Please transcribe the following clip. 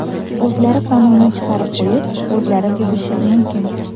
O‘zlari qonunni chiqarib qo‘yib, o‘zlari buzishi mumkin.